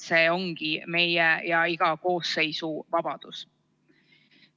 See ongi meie ja iga koosseisu vabadus.